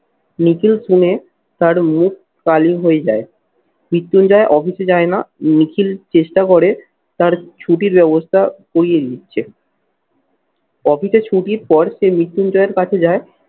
নিখিল শুনে তার মুখ কালি হয়ে যায়। মৃত্যুঞ্জয় office এ যায় না, নিখিল চেষ্টা করে তার ছুটির ব্যবস্থা করিয়ে দিচ্ছে। office এ ছুটির পর সে মৃত্যুঞ্জয়ের কাছে যায়